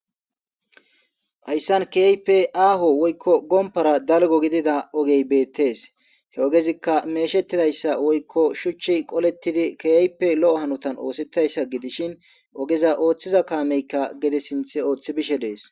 hayssan kiyaipe aaho woykko gompara dalgo gidida ogey beettees he ogezikka meeshettidayssa woykko shuchchi qolettidi kiyaype lo7o hanotan oosettayssa gidishin ogeza ooththiza kaameykka gede sinth ooththi bishe dees